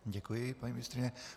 Děkuji, paní ministryně.